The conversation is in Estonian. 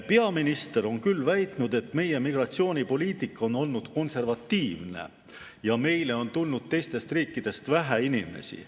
Peaminister on küll väitnud, et meie migratsioonipoliitika on olnud konservatiivne ja meile on tulnud teistest riikidest vähe inimesi.